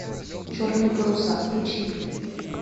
черные паруса включи мне